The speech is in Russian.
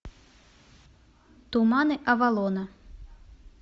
туманы авалона